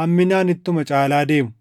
hamminaan ittuma caalaa deemu.